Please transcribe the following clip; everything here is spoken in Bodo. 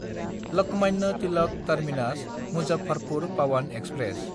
लकमान्य तिलाक टार्मिनास–मुजफ्फरपुर पावान एक्सप्रेस